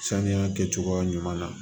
Saniya kɛcogoya ɲuman na